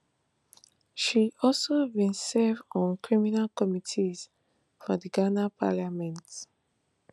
she also bin serve on critical committees for di ghana parliament